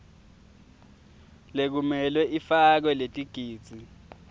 lekumele ifakwe letigidzi